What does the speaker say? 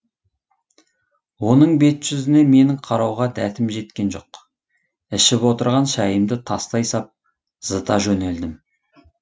оның бет жүзіне менің қарауға дәтім жеткен жоқ ішіп отырған шайымды тастай сап зыта жөнелдім